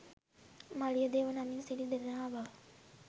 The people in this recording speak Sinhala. මලියදේව නමින් සිටි දෙදෙනා බව